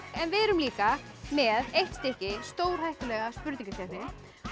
en við erum líka með eitt stykki stórhættulega spurningakeppni